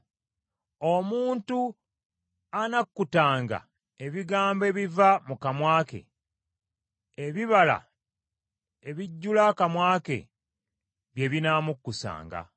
Omuntu anakkutanga ebigambo ebiva mu kamwa ke; ebibala ebijjula akamwa ke bye binamukkusanga.